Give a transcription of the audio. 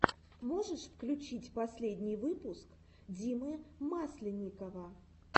можешь включить последний выпуск димы масленникова